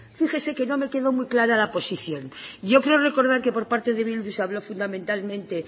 fíjese que no me quedó muy clara la posición yo creo recordar que por parte de bildu se habló fundamentalmente